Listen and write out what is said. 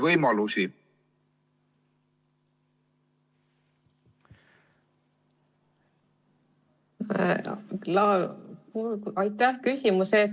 Aitäh küsimuse eest!